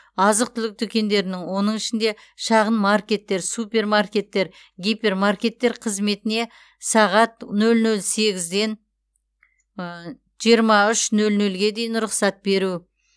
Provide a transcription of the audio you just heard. азық түлік дүкендерінің оның ішінде шағын маркеттер супермаркеттер гипермаркеттер қызметіне сағат нөл нөл сегізден жиырма үш нөл нөлге дейін рұқсат беру